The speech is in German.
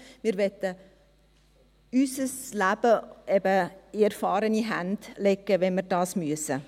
Wir wollen unser Leben in erfahrene Hände legen, wenn wir dies müssen.